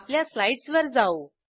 आपल्या स्लाईडसवर जाऊ